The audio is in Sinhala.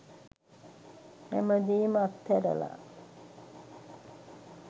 හැමදේම අත්ඇරලා